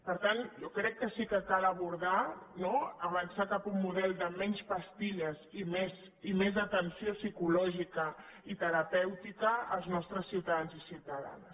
per tant jo crec que sí que cal abordar no avançar cap a un model de menys pastilles i més atenció psi·cològica i terapèutica als nostres ciutadans i ciutada·nes